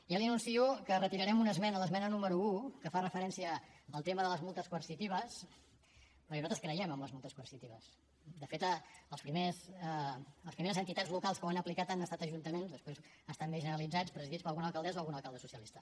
ja li anuncio que retirarem una esmena l’esmena número un que fa referència al tema de les multes coercitives perquè nosaltres creiem en les multes coercitives de fet les primeres entitats locals que ho han aplicat han estat ajuntaments després ha estat més generalitzat presidits per alguna alcaldessa o algun alcalde socialista